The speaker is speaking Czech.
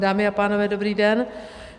Dámy a pánové, dobrý den.